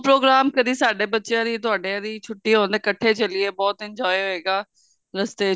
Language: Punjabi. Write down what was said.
program ਕਦੀ ਸਾਡੇ ਬੱਚਿਆਂ ਦੀ ਤੁਹਡੇ ਦੀ ਛੁੱਟੀਆਂ ਹੋਣ ਤੇ ਕੱਠੇ ਚੱਲੀਏ ਬਹੁਤ enjoy ਹੋਏਗਾ ਰਸਤੇ